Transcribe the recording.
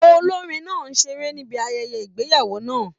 Olorin náà seré níbi ayẹyẹ ìgbéyàwó náà.